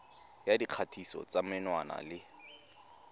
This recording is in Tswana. ya dikgatiso tsa menwana le